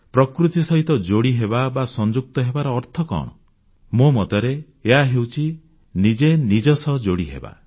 ପ୍ରକୃତି ସହିତ ଯୋଡ଼ିହେବା ବା ସଂଯୁକ୍ତ ହେବାର ଅର୍ଥ କଣ ମୋ ମତରେ ଏହା ହେଉଛି ନିଜେ ନିଜ ସହିତ ଯୋଡ଼ିହେବା